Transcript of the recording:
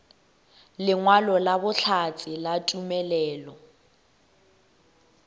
lengwalo la bohlatse la tumelelo